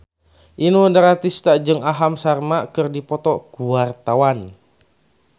Inul Daratista jeung Aham Sharma keur dipoto ku wartawan